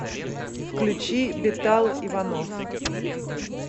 включи бетал иванов